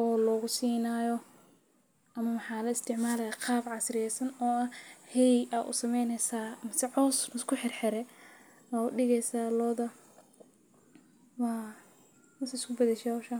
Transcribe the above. oo loogu siinaayo ama ma xal u isticmaaley qaab casri ah? San oo ah hay u sameeyay saar, cusub isku xirxirey u dhigay saa looda waa isku baxa hawsha.